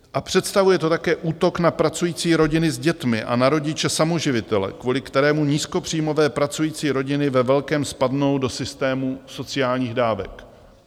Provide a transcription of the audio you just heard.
A představuje to také útok na pracující rodiny s dětmi a na rodiče samoživitele, kvůli kterému nízkopříjmové pracující rodiny ve velkém spadnou do systému sociálních dávek.